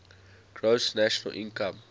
gross national income